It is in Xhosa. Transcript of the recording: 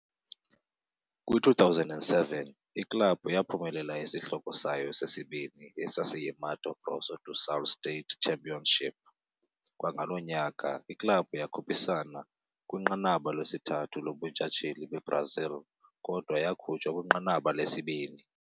Kwi-2007, iklabhu yaphumelela isihloko sayo sesibini, esasiyi-Mato Grosso do Sul State Championship. Kwangalo nyaka, iklabhu yakhuphisana kwiNqanaba lesithathu lobuNtshatsheli beBrazil, kodwa yakhutshwa kwinqanaba lesibini.